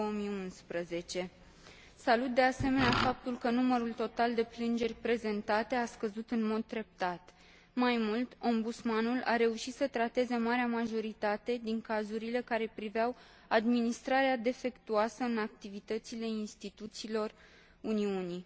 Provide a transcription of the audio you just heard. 2011. Salut, de asemenea, faptul că numărul total de plângeri prezentate a scăzut în mod treptat. Mai mult, Ombudsmanul a reușit să trateze marea majoritate din cazurile care priveau administrarea defectuoasă în activitățile instituțiilor Uniunii.